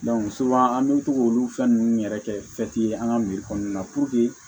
an bɛ to k'olu fɛn ninnu yɛrɛ kɛ an ka kɔnɔna la